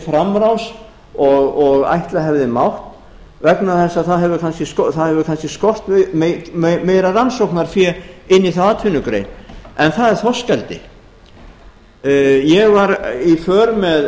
framrás og ætla hefði mátt vegna þess að það hefur kannski skort meira rannsóknarfé inn í þá atvinnugrein en það er þorskeldi ég var í för með